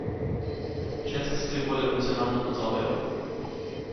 Ženske se tudi bolj emocionalno odzovejo.